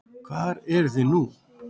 Hvar eruð þið nú?